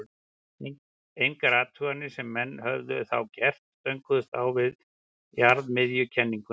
engar athuganir sem menn höfðu þá gert stönguðust á við jarðmiðjukenninguna